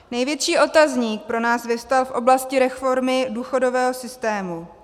Největší otazník pro nás vyvstal v oblasti reformy důchodového systému.